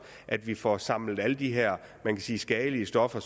at vi får samlet alle de her skadelige stoffer